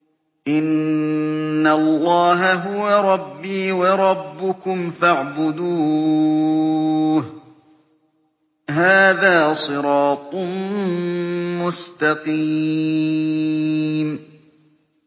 إِنَّ اللَّهَ هُوَ رَبِّي وَرَبُّكُمْ فَاعْبُدُوهُ ۚ هَٰذَا صِرَاطٌ مُّسْتَقِيمٌ